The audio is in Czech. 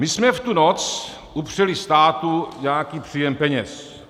My jsme v tu noc upřeli státu nějaký příjem peněz.